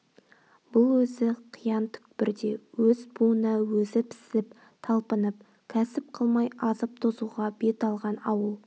бұл өзі қиян түкпірде өз буына өзі пісіп талпынып кәсіп қылмай азып-тозуға бет алған ауыл